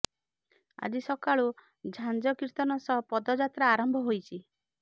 ଆଜି ସକାଳୁ ଝାଞ୍ଜ କୀର୍ତ୍ତନ ସହ ପଦଯାତ୍ରା ଆରମ୍ଭ ହୋଇଛି